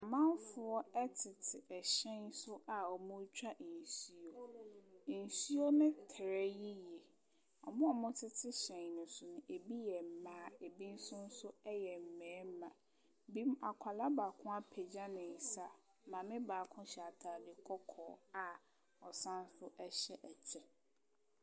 Amanfoɔ te suhyɛn so wɔretwa nsuo. Nsuo no terɛ yie. Wɔn a wɔtete hyɛn no so no, ɛbi yɛ mmaa, ɛbi nso so yɛ mmarima. Bi Akwadaa baako apagya ne nsa. Maame baako hyɛ atade kɔkɔɔ a ɔsane nso hyɛ ɛkyɛ.